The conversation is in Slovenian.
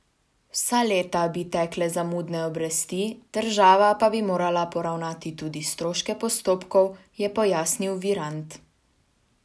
Vsa leta bi tekle zamudne obresti, država pa bi morala poravnati tudi stroške postopkov, je pojasnil Virant.